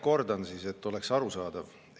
Kordan siis, et oleks arusaadav.